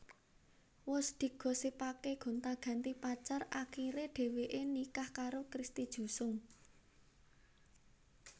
Wus digosipaké gonta ganti pacar akiré dheweké nikah karo Christy Jusung